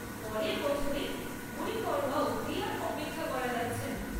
পরের বছরের গুড়ি পাড়ওয়া অবধি আর অপেক্ষা করা যাচ্ছে না।